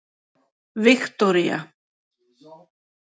Viktoría